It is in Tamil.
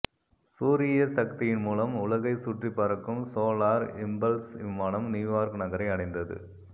சூரிய சக்தியின் மூலம் உலகைச் சுற்றிப் பறக்கும் சோலார் இம்பல்ஸ் விமானம் நியூயார்க் நகரை அடைந்தது